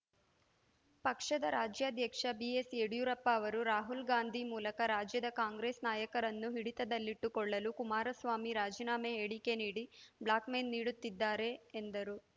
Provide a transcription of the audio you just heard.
ಪಕ್ಷದ ರಾಜ್ಯಾಧ್ಯಕ್ಷ ಬಿಎಸ್‌ಯಡಿಯೂರಪ್ಪ ಅವರು ರಾಹುಲ್‌ ಗಾಂಧಿ ಮೂಲಕ ರಾಜ್ಯದ ಕಾಂಗ್ರೆಸ್‌ ನಾಯಕರನ್ನು ಹಿಡಿತದಲ್ಲಿಟ್ಟುಕೊಳ್ಳಲು ಕುಮಾರಸ್ವಾಮಿ ರಾಜೀನಾಮೆ ಹೇಳಿಕೆ ನೀಡಿ ಬ್ಲಾಕ್‌ಮೇಲ್‌ ನೀಡುತ್ತಿದ್ದಾರೆ ಎಂದರು